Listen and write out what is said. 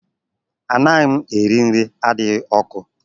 Anaghị m eri nri adịghị ọkụ